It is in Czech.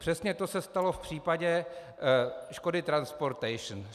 Přesně to se stalo v případě Škody Transportation.